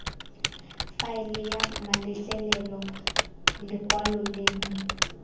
faele ya mametlelelo lekwalo lengwe